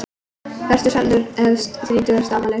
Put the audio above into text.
Fertugsaldur hefst við þrítugsafmæli.